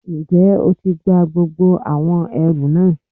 N jẹ́ o ti gba gbogbo àwọn ẹrù náà